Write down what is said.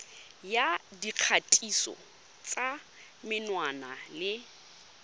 ya dikgatiso tsa menwana le